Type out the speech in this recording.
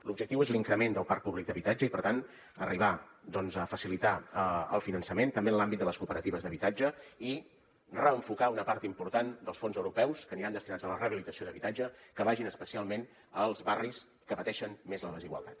l’objectiu és l’increment del parc públic d’habitatge i per tant arribar doncs a facilitar el finançament també en l’àmbit de les cooperatives d’habitatge i reenfocar una part important dels fons europeus que aniran destinats a la rehabilitació d’habitatge que vagin especialment als barris que pateixen més la desigualtat